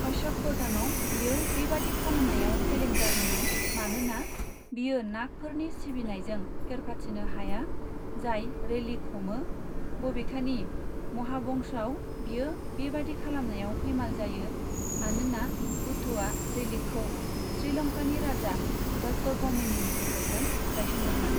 अशकवदनआव, बियो बेबादि खालामनायाव फेलें जादोंमोन मानोना बियो नागफोरनि सिबिनायजों फेरफाथिनो हाया, जाय रेलिक हमो, बबेखानि महाबंशआव, बियो बेबादि खालामनायाव फैमाल जायो मानोना बुद्धआ रेलिकखौ श्रीलंकानि राजा दत्तगमणिनि गेजेरजों गायसनदोंमोन।